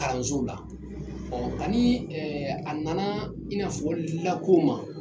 K"an z'o la, kani a nana i n'a fɔ la ko ma,